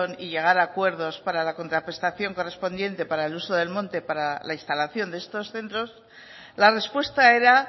y llegar a acuerdos para la contraprestación correspondiente para el uso del monte para la instalación de estos centros la respuesta era